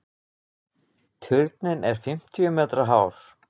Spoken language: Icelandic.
Turninn er fimmtíu metra hár.